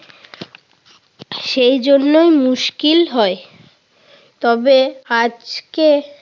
সেই জন্যই মুশকিল হয়। তবো আজকে